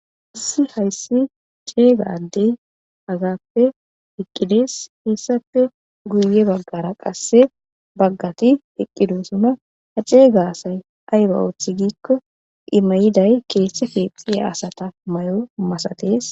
Issi hayssi ceega addey azappe eqqidees heessappe guye baggara qasse baggati hiqqidosuna ha ceega asay ayba oothi giikko imayiday keesse keexxiya asata mayo masatees.